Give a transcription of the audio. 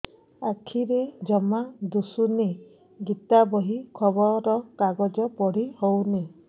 ଆଖିରେ ଜମା ଦୁଶୁନି ଗୀତା ବହି ଖବର କାଗଜ ପଢି ହଉନି